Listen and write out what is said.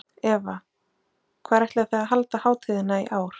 Eva, hvar ætlið þið að halda hátíðina í ár?